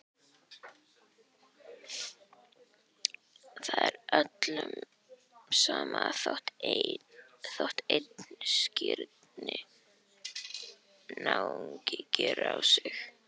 Það er öllum sama þótt einn skrýtinn náungi geri á sig.